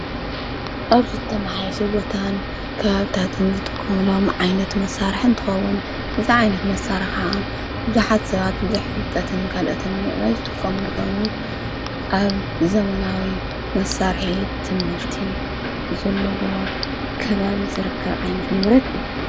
ኣብዝ እተመሓየሸ ቦታን ካሃብታትን ዝጥቁምሎም ዓይነት መሣርሕ እንትኸቡን እዛ ዓይነት መሣረ ኸዓ ብዙኃት ሰባት ብዙኅ ፍልጠትን ካልኦትን ምዕበይ ዝጥቆሙንኾኑ ኣብ ዘመናዊ መሣርሒት ትምህርቲ ዘለዎ ከባብ ዘረከብ ዓይነት ንብረት ዩ።